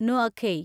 നുഅഖൈ